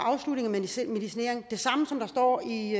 medicinering det det samme som der står i